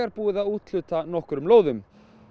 búið að úthluta nokkrum lóðum